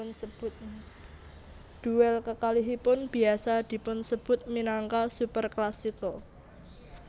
Duel kekalihipun biasa dipunsebut minangka Superclasico